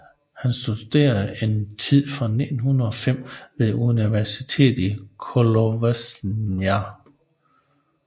Han studerede en tid fra 1905 ved universitetet i Kolozsvár